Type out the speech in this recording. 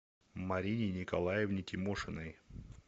марине николаевне тимошиной